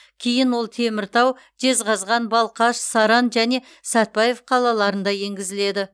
кейін ол теміртау жезқазған балқаш саран және сәтбаев қалаларында енгізіледі